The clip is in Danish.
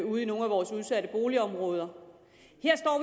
ude i nogle af vores udsatte boligområder